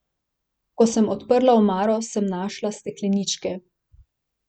Ko sem odprla omaro, sem našla stekleničke.